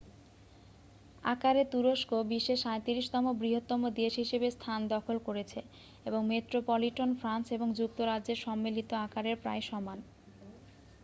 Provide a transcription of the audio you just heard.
আকারে তুরস্ক বিশ্বে 37-তম বৃহত্তম দেশ হিসাবে স্থান দখল করেছে এবং মেট্রোপলিটন ফ্রান্স এবং যুক্তরাজ্যের সম্মিলিত আকারের প্রায় সমান